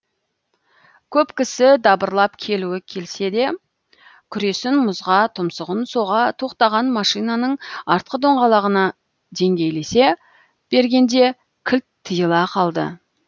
көп кісі дабырлап келуі келсе де күресін мұзға тұмсығын соға тоқтаған машинаның артқы доңғалағына деңгейлесе бергенде кілт тиыла қалды